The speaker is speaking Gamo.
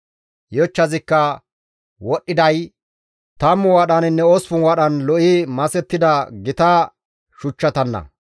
Yochchazikka wodhdhiday 10 wadhaninne 8 wadhan lo7i masettida gita shuchchatanna.